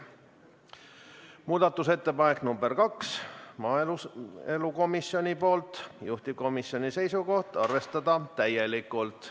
Muudatusettepanek nr 2, maaelukomisjonilt, juhtivkomisjoni seisukoht on arvestada täielikult.